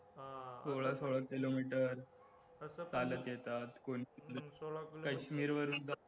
सोळा सोळा किलोमीटर चालत येतात, कोण काश्मीर वरून